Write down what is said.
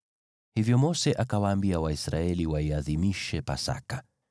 Hivyo Mose akawaambia Waisraeli waiadhimishe Pasaka,